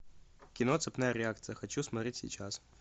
кино цепная реакция хочу смотреть сейчас